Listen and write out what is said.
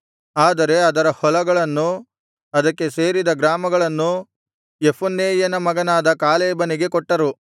ಆದರೆ ಅದರ ಹೊಲಗಳನ್ನೂ ಅದಕ್ಕೆ ಸೇರಿದ ಗ್ರಾಮಗಳನ್ನೂ ಯೆಫುನ್ನೆಯನ ಮಗನಾದ ಕಾಲೇಬನಿಗೆ ಕೊಟ್ಟರು